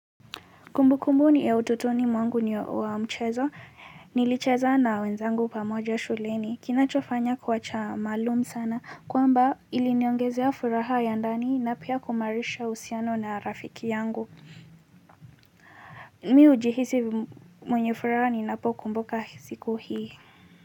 Kumbu kumbu ni ya utotoni mwangu ni wa mchezo, nilicheza na wenzangu pamoja shuleni, kinachofanya kuwacha maalum sana, kwamba iliniongezea furaha ya ndani na pia kuimarisha uhusiano na rafiki yangu. Mi ujihisi mwenye furaha ninapokumbuka siku hii.